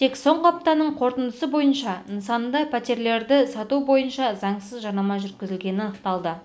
тек соңғы аптаның қорытындысы бойынша нысанда пәтерлерді сату бойынша заңсыз жарнама жүргізілгені анықталды